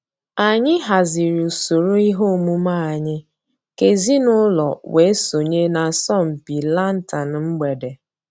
Ànyị̀ hàzìrì ǔsòrò ìhè òmùmè ànyị̀ kà èzìnùlọ̀ wée sọǹyé n'àsọ̀mpị lantern mgbèdè.